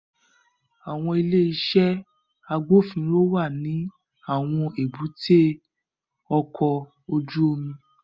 Awọn ile-iṣẹ agbofinro wa ni awọn èbúté ọkọ ojú omi